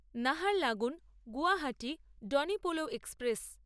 Naharlagun Guwahati Donyi Polo express